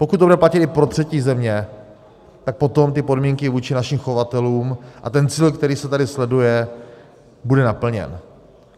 Pokud to bude platit i pro třetí země, tak potom ty podmínky vůči našim chovatelům a ten cíl, který se tady sleduje, bude naplněn.